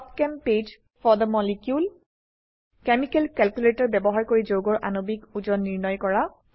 pub chem page for the molecule chemical calculator ব্যবহাৰ কৰি যৌগৰ আণবিক ওজন নিৰ্ণয় কৰা